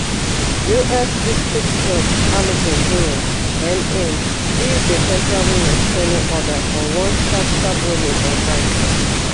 us district judge allison burroughs n aim give di temporary restraining order for one sharp sharp ruling on friday